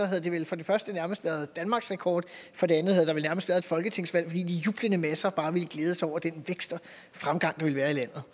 havde det vel for det første nærmest været danmarksrekord for det andet havde der vel nærmest været et folketingsvalg fordi de jublende masser bare ville glæde sig over den vækst og fremgang der ville være i landet